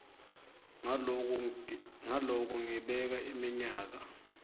ngaloko ngibeka iminyaka